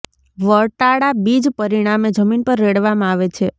વટાળા બીજ પરિણામે જમીન પર રેડવામાં આવે છે